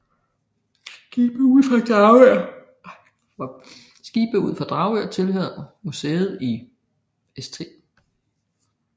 Skibe ud for Dragør tilhører museet i St